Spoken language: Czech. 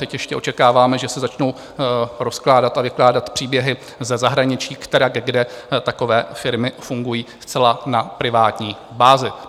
Teď ještě očekáváme, že se začnou rozkládat a vykládat příběhy ze zahraničí, kterak kde takové firmy fungují zcela na privátní bázi.